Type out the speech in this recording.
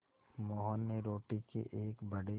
मोहन ने रोटी के एक बड़े